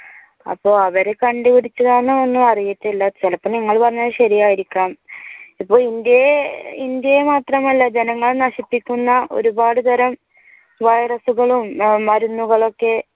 അപ്പോൾ അവർ കണ്ടുപിടിച്ചതാണോ എന്നൊ അറിയത്തില്ല. ചിലപ്പോൾ നിങ്ങൾ പറഞ്ഞ ശരിയായിരിക്കാം. ഇപ്പോൾ ഇന്ത്യയെ- ഇന്ത്യയെ മാത്രമല്ല ജനങ്ങൾ നശിപ്പിക്കുന്ന ഒരുപാട് തരം വൈറസുകളും മരുന്നുകളൊക്കെ